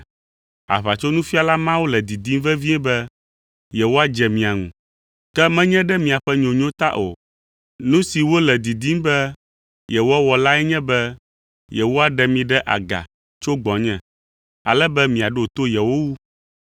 Aʋatsonufiala mawo le didim vevie be yewoadze mia ŋu, ke menye ɖe miaƒe nyonyo ta o. Nu si wole didim be yewoawɔ lae nye be yewoɖe mi ɖe aga tso gbɔnye, ale be miaɖo to yewo wu.